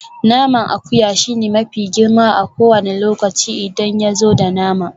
Naman akuya shine mafi girma a kowane lokaci idan yazo da nama.